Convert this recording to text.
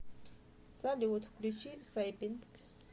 салют включи сайпинк